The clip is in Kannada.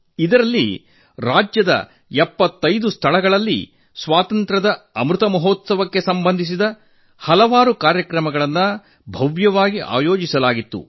ಅದರಲ್ಲಿ ರಾಜ್ಯದ 75 ಸ್ಥಳಗಳಲ್ಲಿ ಸ್ವಾತಂತ್ರ್ಯದ ಅಮೃತ ಮಹೋತ್ಸವಕ್ಕೆ ಸಂಬಂಧಿಸಿದ ಹಲವು ಕಾರ್ಯಕ್ರಮಗಳನ್ನು ವೈಭವ್ಯದಿಂದ ಆಯೋಜಿಸಲಾಗಿತ್ತು